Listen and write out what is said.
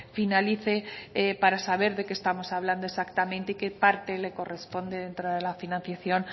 finalice para saber de qué estamos hablando exactamente y qué parte le corresponde dentro de la financiación